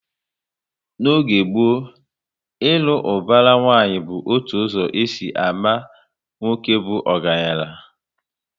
N'oge gboo, ilu ubara nwanyi bụ otu ụzọ e si ámá nwoke bụ ọgaranya